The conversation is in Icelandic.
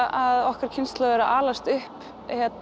að okkar kynslóð er að alast upp